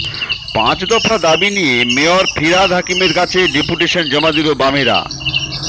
পাঁচদফা দাবি নিয়ে মেয়র ফিরহাদ হাকিমের কাছে ডেপুটেশন জমা দিল বামেরা